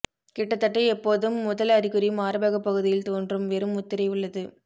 கிட்டத்தட்ட எப்போதும் முதல் அறிகுறி மார்பக பகுதியில் தோன்றும் வெறும் முத்திரை உள்ளது